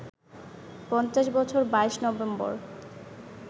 ৫০ বছর ২২ নভেম্বর